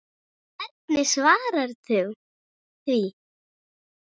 eftir Guðnýju Björk Eydal